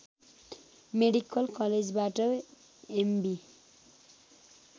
medical कलेजबाट MB